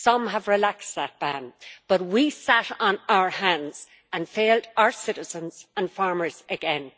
Some have relaxed that ban, but we sat on our hands and failed our citizens and farmers again.